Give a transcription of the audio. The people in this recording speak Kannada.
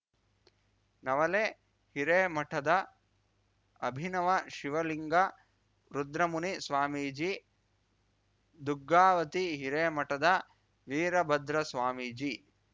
ನವಲೆ ಹಿರೇಮಠದ ಅಭಿನವ ಶಿವಲಿಂಗ ರುದ್ರಮುನಿ ಸ್ವಾಮೀಜಿ ದುಗ್ಗಾವತಿ ಹಿರೇಮಠದ ವೀರಭದ್ರಸ್ವಾಮೀಜಿ